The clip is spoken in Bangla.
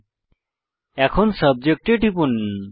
এখন শুধু সাবজেক্ট এ টিপুন